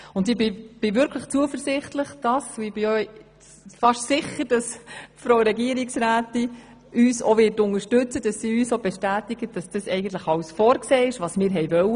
Ich bin wirklich zuversichtlich und fast sicher, dass uns die Regierungsrätin unterstützen und bestätigen wird, dass eigentlich alles vorgesehen ist, was wir wollen.